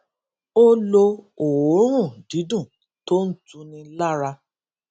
ó lo òórùn dídùn tó ń tuni lára